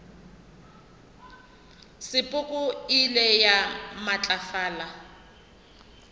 sepoko e ile ya matlafala